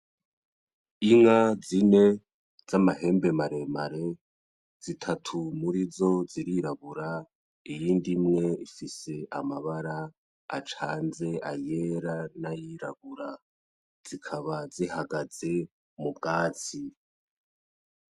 Inka zine z'amahembe maremare, zitatu muri zo zirirabura, iyindi imwe ifise amabara acanze ayera n'ayirabura, zikaba zihagaze mu bwatsi.